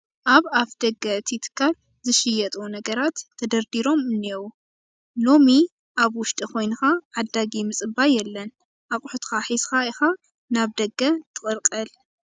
ኣብ ኣፍ ደገ እቲ ትካል ዝሽጠጡ ነገራት ተደርዲሮም እኔዉ፡፡ ሎሚ ኣብ ውሽጢ ኮይንካ ዓዳጊ ምፅባይ የለን፡፡ ኣቑሑትካ ሒዝካ ኢኻ ናብ ደገ ትቕልቀል፡፡